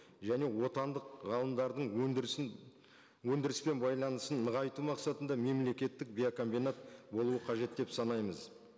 және отандық ғалымдардың өндірісін өндіріспен байланысын нығайту мақсатында мемлекеттік биокомбинат болуы қажет деп санаймыз